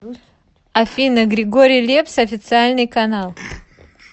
афина григорий лепс официальный канал